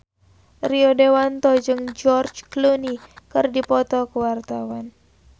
Rio Dewanto jeung George Clooney keur dipoto ku wartawan